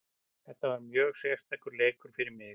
Þetta var mjög sérstakur leikur fyrir mig.